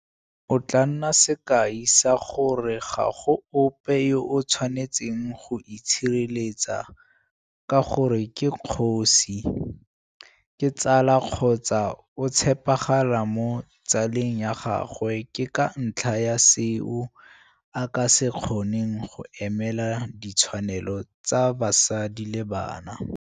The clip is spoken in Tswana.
O tla nna sekai sa gore ga go ope yo a tshwanetseng go itshireletsa ka gore ke kgosi, ke tsala kgotsa o tshepagala mo tsale ng ya gagwe ke ka ntlha ya seo a ka se kgoneng go emelela ditshwanelo tsa basadi le bana.